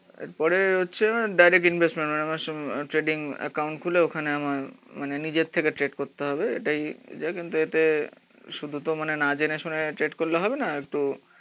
এর পরে হচ্ছে ডাইরেক্ট ইনভেস্টমেন্ট মানে আমার ট্রেডিং একাউন্ট খুলে ওখানে আমার নিজের থেকে ট্রেড করতে হবে এটাই যা। কিন্তু এতে শুধু মানে না জেনে শুনে ট্রেড করলে হবে না তো